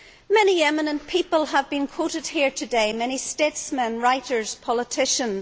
Many eminent people have been quoted here today, many statesmen, writers, politicians.